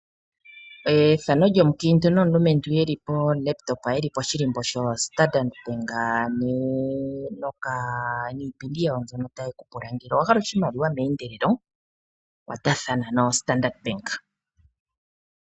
Moombanga aantu ohaya longo nookompiuta opo yavule okuyakula aakwashigwana mboka haye ya koombanga dhawo yapumbwa omakwatho gi ili nogi ili.